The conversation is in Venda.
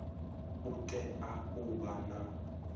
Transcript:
u tea u vha na